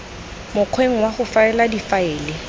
mokgweng wa go faela difaele